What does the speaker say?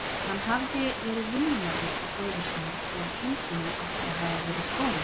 Hann hafði verið vinnumaður hjá bróður sínum þegar kindunum átti að hafa verið stolið.